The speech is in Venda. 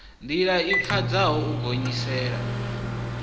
ndila i pfadzaho u gonyisela